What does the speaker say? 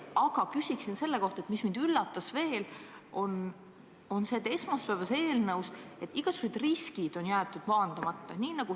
Aga küsin selle kohta, mis mind veel üllatas esmaspäevases eelnõus: et igasugused riskid on jäetud maandamata.